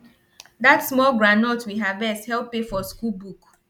dat small groundnut we harvest help pay for school book